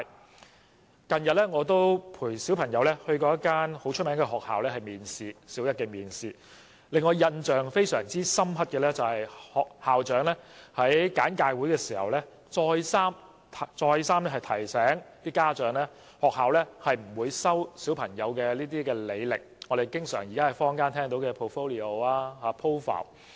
我近日曾經陪同家中小朋友到一間出名的學校參加小一面試，校長在簡介會的一番說話至今仍然令我印象難忘，他竟然再三告訴家長，學校不會看小朋友的履歷，即我們經常聽到的 portfolio 或 profile。